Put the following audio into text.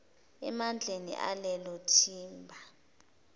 emandleni alelo thimba